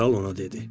Kral ona dedi.